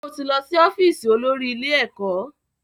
Sọ ti lọ sí ọ́fíìsì olórí ilé ẹ̀kọ́?